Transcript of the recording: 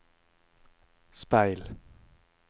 speil